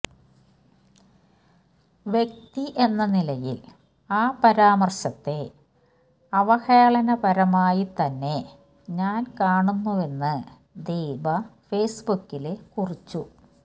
വ്യക്തി എന്ന നിലയില് ആ പരാമര്ശത്തെ അവഹേളനപരമായിത്തന്നെ ഞാന് കാണുന്നുവെന്ന് ദീപ ഫെയ്സ്ബുക്കില് കുറിച്ചു